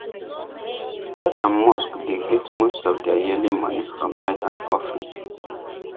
church and mosque dey get most of their yearly money from tithe and offering